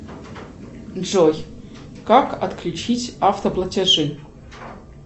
джой как отключить автоплатежи